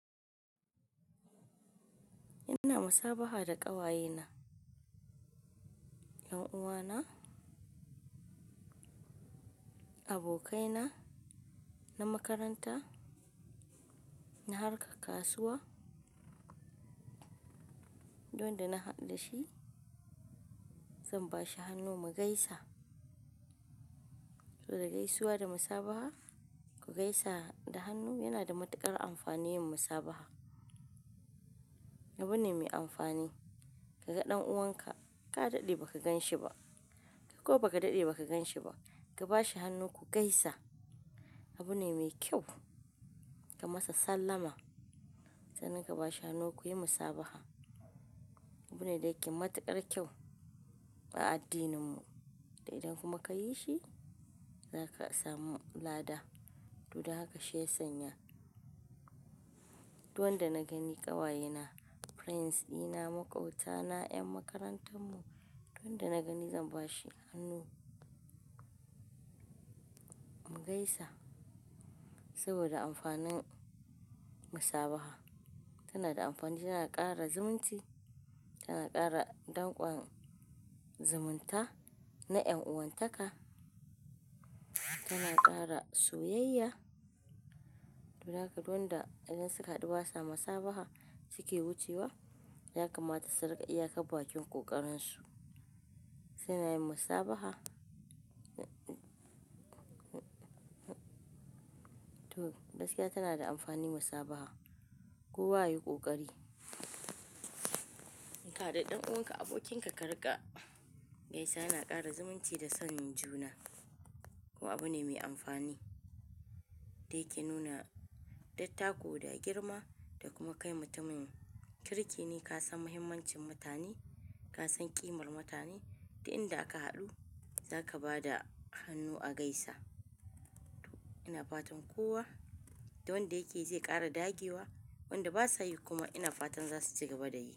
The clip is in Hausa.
Ina musabaha da ƙawayena, 'yan uwana, abokaina na makaranta, na harkar kasuwa. Duk wanda na haɗu da shi, zan ba shi hannu mu gaisa. Saboda gaisuwa da musabaha ku gaisa da hannu yana da matuƙar amfani yin musabaha. Abu ne mai amfani. Ka ga ɗan uwanka ka daɗe ba ka gan shi ba ko ba ka daɗe ba ka gan shi ba, ka ba shi hannu ku gaisa. Abu ne me kyau. Ka masa sallama, sannan ka ba shi hannu ku yi musabaha. Abu ne da yake matuƙar kyau a addininmu. Da idan kuma ka yi shi, za ka samu lada. Duk da haka shi ya sanya. Duk wanda na gani ƙawayena, friends dina, maƙwabtana, 'yan makarantar mu, duk wanda na gani zan ba shi hannu mu gaisa saboda amfanin musabaha. Tana da amfani, tana ƙara zumunci, tana ƙara danƙon zumunta na 'yan'uwan taka, tana ƙara soyayya. To don haka duk wanda idan suka haɗu ba sa musabaha suke wucewa, ya kamata su riƙa iyakar bakin ƙoƙarin su. Kanayin musabaha. To, gaskiya tana da amfani musabaha. Kowa ya yi ƙoƙari. In ka haɗu da ɗan uwanka, abokinka ka riƙa gaisawa yana ƙara zumunci da son juna. Ko abu ne mai amfani da yake nuna dattako da girma da kuma kai mutumin kirki ne. Ka san muhimmancin mutane, ka san ƙimar mutane. Duk inda aka haɗu za ka ba da hannu a gaisa. Ina fatan kowa da wanda yakeyi zai ƙara dagewa. Wanda ba sa yi kuma ina fatan za su ci gaba da yi.